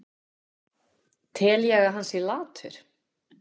Tel ég að hann sé latur?